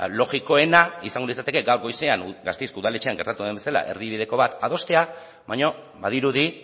logikoena izango litzateke gaur goizean gasteizko udaletxean gertatu den bezala erdibideko bat adostea baina badirudi